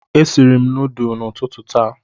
E siri m nudulu n'ututu taa